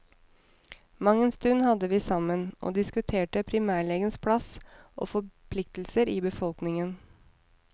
Mangen stund hadde vi sammen og diskuterte primærlegens plass og forpliktelser i befolkningen.